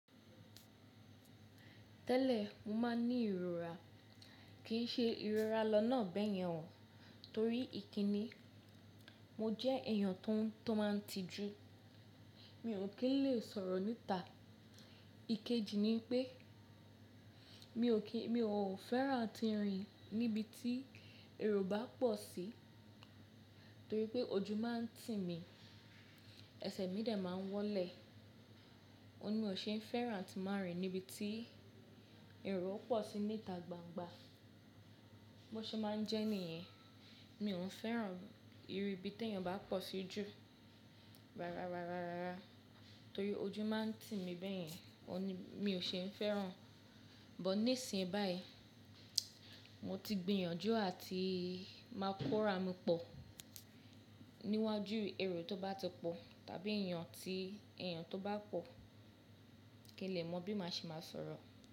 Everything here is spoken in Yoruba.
Tẹ́lẹ̀, mo máa ń ní ìrora, kì í ṣe ìrora lọ́nà beyèn ọ̀, torí ìkínni. Mo jẹ́ èèyàn tó máa ń tijú, mi ò kí lè sọ̀rọ̀ níta. Ikeji ni pé mi ò fẹ́ràn tíìrín níbi tí èrò bá pọ̀ sí, torí pé ojú máa ń tì mí, ẹsẹ̀ mi dè máa ń wọ́lẹ̀. Ó ní mi ò ṣe é fẹ́ràn àti máa rìn níbi tí èrò pọ̀ sí níta gbangba. Bo ṣe máa ń jẹ́ nìyẹn, mi ò ń fẹ́ràn ìrì ibi tí èèyàn bá pọ̀ sí jù. Rárá, rárá, rárá. Torí ojú máa ń tì mí bẹ́yẹn, ó ní mi ò ṣe ń fẹ́ràn. But nísìnyí báyìí, mo ti gbìyànjú àti máa kóra mi pọ̀ níwájú èrò tó bá ti pọ̀ tàbí èèyàn tó bá pọ̀, kí n lè mọ bí màá ṣe máa sọ̀rọ̀.